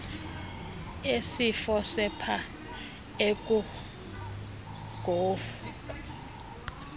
esifo sepha ekungoku